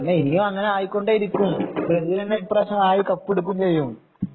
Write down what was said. അല്ല എനിയും ആയികൊണ്ടേയിരിക്കും ബ്രസീല് തന്നെ ഇപ്രാവശ്യം ആയി കപ്പെടുക്കും ചെയ്യും